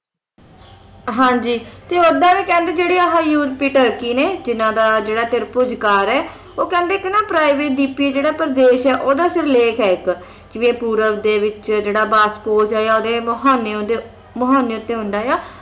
ਹਾਂ ਜੀ ਤੇ ਓਦਾਂ ਵੀ ਕਹਿੰਦੇ ਜਿਹੜੇ ਯੂਰੋਪੀ ਤੁਰਕੀ ਨੇ ਜਿਨ੍ਹਾਂ ਦਾ ਜਿਹੜਾ ਤਿਰਭੁਜੀ ਆਕਾਰ ਹੈ ਉਹ ਕਹਿੰਦੇ ਇੱਕ ਨਾ private ਦਵੀਪੀ ਜਿਹੜਾ ਪ੍ਰਦੇਸ਼ ਹੈ ਨਾ ਇੱਕ ਓਹਦਾ ਸਿਰਲੇਖ ਹੈ ਇੱਕ ਜਿਵੇਂ ਪੂਰਵ ਦੇ ਵਿੱਚ ਜਿਹੜਾ ਬਾਸਪੋਚ ਹੈ ਆ ਓਹਦੇ ਮੁਹਾਨੇ ਦੇ ਮੁਹਾਨੇ ਉੱਤੇ ਹੁੰਦਾ ਹੈ